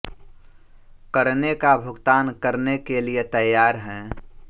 करने का भुगतान करने के लिये तैयार है